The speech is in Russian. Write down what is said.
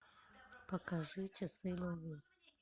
покажи часы любви